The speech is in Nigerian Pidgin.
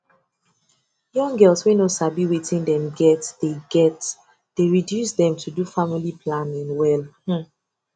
young girls wey no sabi wetin dem get dey get dey reduce dem to do family planning well hmmm